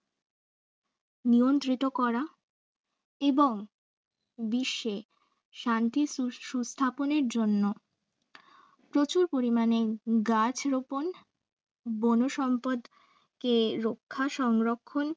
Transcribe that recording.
নিয়ন্ত্রিত করা এবং বিশ্বে শান্তির সু~সুস্থাপনের জন্য প্রচুর পরিমাণে গাছ রোপন বন সম্পদকে রক্ষা সংরক্ষণ